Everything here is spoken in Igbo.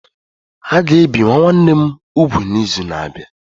A ga-ebi nwa nwanne m úgwù n'izu na-abịa.